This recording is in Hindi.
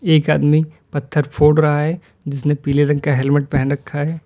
एक आदमी पत्थर फोड़ रहा है जिसने पीले रंग का हेलमेट पेहन रखा है।